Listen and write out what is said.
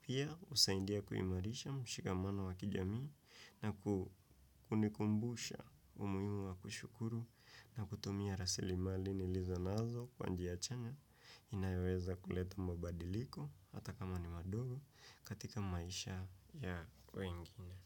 Pia usaidia kuimarisha mshikamano wa kijamii na kukunikumbusha umuimu wa kushukuru na kutumia rasili mali ni lizo nazo kwa njiya chanya inayeweza kuleta mabadiliko hata kama ni madogo katika maisha ya wengine.